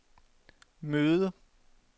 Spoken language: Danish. møde